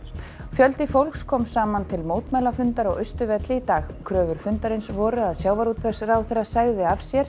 fjöldi fólks kom saman til mótmælafundar á Austurvelli í dag kröfur fundarins voru að sjávarútvegsráðherra segði af sér